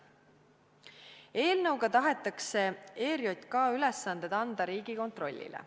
Eelnõuga tahetakse ERJK ülesanded anda Riigikontrollile.